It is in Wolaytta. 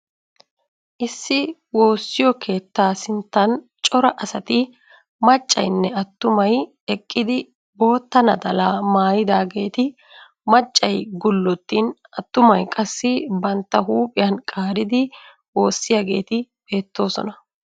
Issi woossiyo keettaa sinttan cora asati maccaynne attumay eqqidi bootta naxalaa maayidaageeti maccay gullottin attumay qassi bantta huuphiyan qaaridi woossiyaageeti beettoosona.